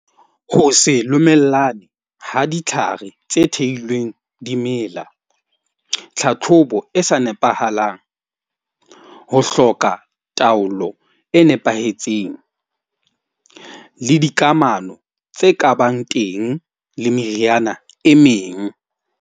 Ho se le ha ditlhare tse theilweng dimela, tlhatlhobo e sa nepahalang, ho hloka taolo e nepahetseng le dikamano tse kabang teng le meriana e meng.